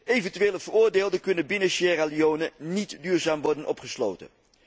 Eventuele veroordeelden kunnen binnen Sierra Leone niet duurzaam worden opgesloten.